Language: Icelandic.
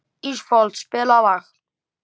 Ísfold, spilaðu lag.